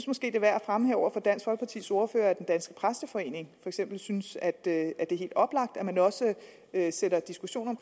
måske er værd at fremhæve over for dansk folkepartis ordfører at den danske præsteforening eksempel synes at det er helt oplagt at man også sætter diskussionen